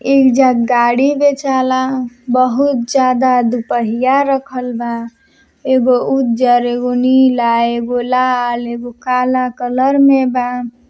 ऐईजा गाड़ी बेचाला। बहुत ज्यादा दूपहिया रखल बा। एगो उजर एगो नीला एगो लाल एगो काला कलर में बा।